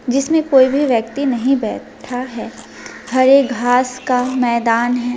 जिसमें कोई भी व्यक्ति नहीं बैठा है हरे घास का मैदान है।